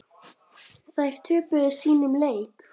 Þær töpuðu sínum leik.